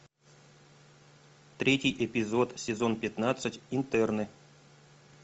третий эпизод сезон пятнадцать интерны